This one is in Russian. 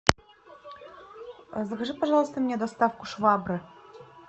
закажи пожалуйста мне доставку швабры